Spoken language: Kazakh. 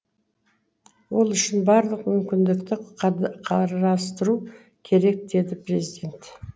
ол үшін барлық мүмкіндікті қарастыру керек деді президент